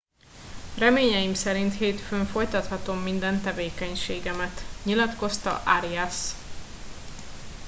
reményeim szerint hétfőn folytathatom minden tevékenységemet nyilatkozta arias